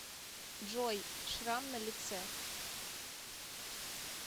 джой шрам на лице